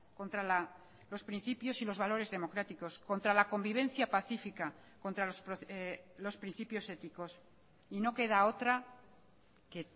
contra los principios y los valores democráticos contra la convivencia pacífica contra los principios éticos y no queda otra que